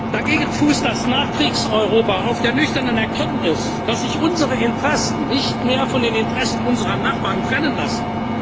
Dagegen fußt das Nachkriegs Europa auf der nüchternen Erkenntnis, dass sich unsere Interessen nicht mehr von den Interessen unserer Nachbarn trennen lassen